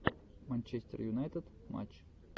манчестер юнайтед матч